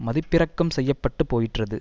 மதிப்பிறக்கம் செய்யப்பட்டுப் போயிற்றது